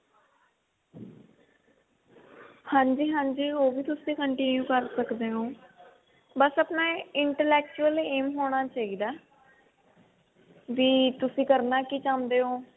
ਹਾਂਜੀ ਹਾਂਜੀ ਉਹ ਵੀ ਤੁਸੀਂ continue ਕਰ ਸਕਦੇ ਹੋ ਬਸ ਆਪਣਾ inter actual aim ਹੋਣਾ ਚਾਹਿਦਾ ਵੀ ਤੁਸੀਂ ਕਰਨਾ ਕਿ ਚਾਹੁੰਦੇ ਹੋ